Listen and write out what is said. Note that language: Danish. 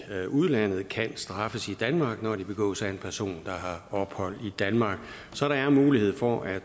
udlandet kan straffes i danmark når de begås af en person der har ophold i danmark så der er mulighed for at